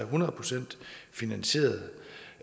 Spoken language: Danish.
hundrede procent finansieret